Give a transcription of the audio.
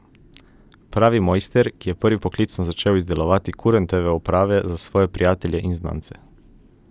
Pravi mojster, ki je prvi poklicno začel izdelovati kurentove oprave za svoje prijatelje in znance.